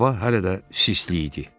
Hava hələ də sistli idi.